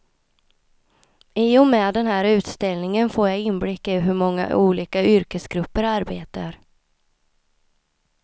I och med den här utställningen får jag inblick i hur många olika yrkesgrupper arbetar.